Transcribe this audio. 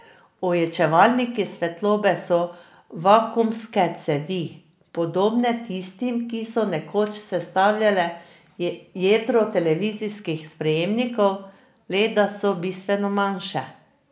Ojačevalniki svetlobe so vakuumske cevi, podobne tistim, ki so nekoč sestavljale jedro televizijskih sprejemnikov, le da so bistveno manjše.